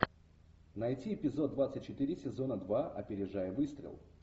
найти эпизод двадцать четыре сезона два опережая выстрел